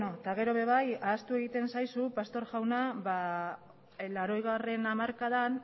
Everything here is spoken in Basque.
eta gero ere bai ahaztu egiten zaizu pastor jauna mila bederatziehun eta laurogeigarrena hamarkadan